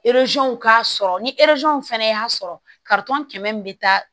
k'a sɔrɔ ni fɛnɛ y'a sɔrɔ kɛmɛ min bi taa